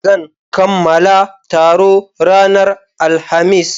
Zan kamala taro ranar Alhamis.